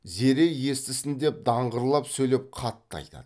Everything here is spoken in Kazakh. зере естісін деп даңғырлап сөйлеп қатты айтады